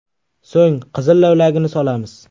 So‘ng qizil lavlagini solamiz.